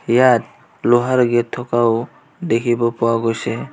ইয়াত লোহাৰ গেট থকাও দেখিব পোৱা গৈছে.